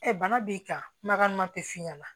bana b'i kan kumakan ma teliya